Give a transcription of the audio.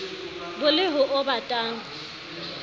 bo le ho o batang